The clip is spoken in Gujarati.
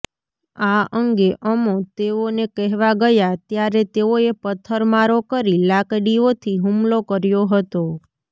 આ અંગે અમો તેઓને કહેવા ગયા ત્યારે તેઓએ પથ્થરમારો કરી લાકડીઓથી હુમલો કર્યો હતો